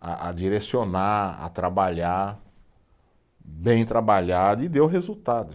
a a direcionar, a trabalhar, bem trabalhado, e deu resultado.